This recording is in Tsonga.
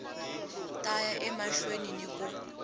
ta ya emahlweni ni ku